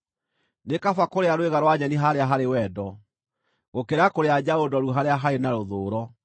Nĩ kaba kũrĩa rwĩga rwa nyeni harĩa harĩ wendo, gũkĩra kũrĩa njaũ noru harĩa harĩ na rũthũũro.